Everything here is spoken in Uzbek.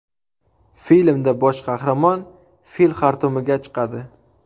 Filmda bosh qahramon fil xartumiga chiqadi.